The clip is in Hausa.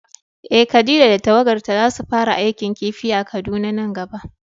Eh Khadija da tawagarta zasu fara aikin kifi a Kaduna nan gaba.